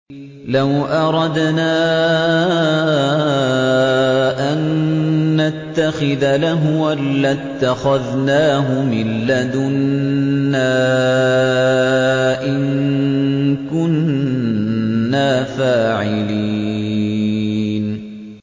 لَوْ أَرَدْنَا أَن نَّتَّخِذَ لَهْوًا لَّاتَّخَذْنَاهُ مِن لَّدُنَّا إِن كُنَّا فَاعِلِينَ